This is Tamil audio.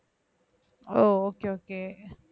O okay okay